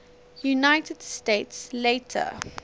united states later